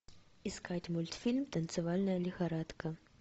искать мультфильм танцевальная лихорадка